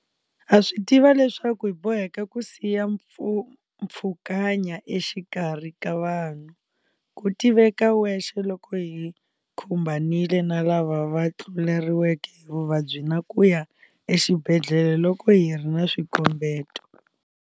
Ha swi tiva leswaku hi boheka ku siya mpfhukanya exikarhi ka vanhu, ku tiveka wexe loko hi khumbanile na lava va tluleriweke hi vuvabyi na ku ya exibedhlele loko hi ri na swikombeto.